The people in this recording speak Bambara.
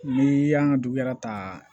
Ni y'an ka du yɛrɛ ta